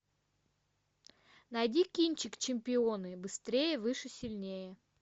найди кинчик чемпионы быстрее выше сильнее